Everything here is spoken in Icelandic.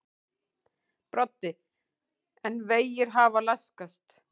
Broddi: En vegir hafa laskast?